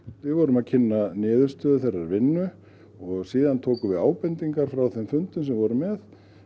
við vorum að kynna niðurstöðu þeirrar vinnu og síðan tókum við ábendingar frá þeim fundum sem við vorum með